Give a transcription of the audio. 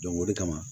o de kama